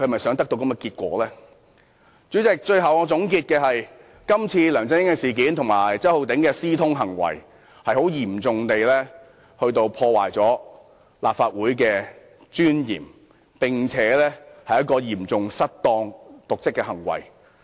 主席，我的結論是，這次梁振英和周浩鼎議員的私通事件，嚴重破壞立法會的尊嚴，是嚴重的瀆職行為。